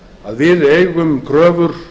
að við eigum kröfur